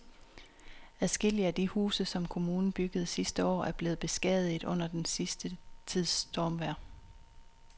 Adskillige af de huse, som kommunen byggede sidste år, er blevet beskadiget under den sidste tids stormvejr.